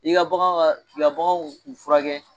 I ka bagan ka k'i ka bagan u furakɛ